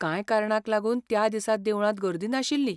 कांय कारणांक लागून त्या दिसा देवळांत गर्दी नाशिल्ली.